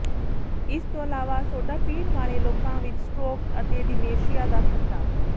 ਇਸ ਤੋਂ ਇਲਾਵਾ ਸੋਢਾ ਪੀਣ ਵਾਲੇ ਲੋਕਾਂ ਵਿੱਚ ਸਟ੍ਰੋਕ ਤੇ ਡਿਮੇਸ਼ੀਆ ਦਾ ਖ਼ਤਰਾ